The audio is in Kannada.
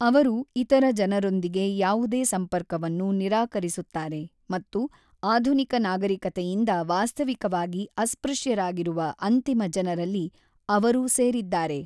ಅವರು ಇತರ ಜನರೊಂದಿಗೆ ಯಾವುದೇ ಸಂಪರ್ಕವನ್ನು ನಿರಾಕರಿಸುತ್ತಾರೆ ಮತ್ತು ಆಧುನಿಕ ನಾಗರಿಕತೆಯಿಂದ ವಾಸ್ತವಿಕವಾಗಿ ಅಸ್ಪೃಶ್ಯರಾಗಿರುವ ಅಂತಿಮ ಜನರಲ್ಲಿ ಅವರು ಸೇರಿದ್ದಾರೆ.